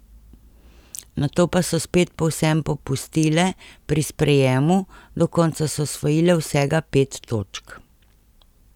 Nato pa so spet povsem popustile pri sprejemu, do konca so osvojile vsega pet točk.